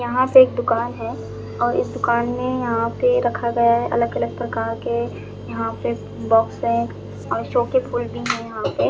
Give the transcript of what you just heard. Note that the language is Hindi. यहाँ पे एक दुकान है और इस दुकान में यहाँ पे रखा गया है अलग अलग प्रकार के यहाँ पे बॉक्स हैं और शो के फूल भी हैं यहाँ पे।